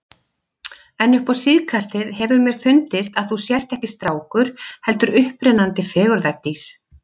En upp á síðkastið hefur mér fundist að þú sért ekki strákur, heldur upprennandi fegurðardís.